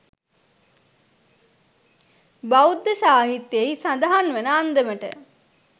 බෞද්ධ සාහිත්‍යයෙහි සඳහන් වන අන්දමට,